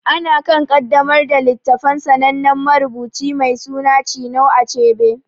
Ana kan ƙaddamar da littafin sanannen marubuci mai suna Chinua Achebe.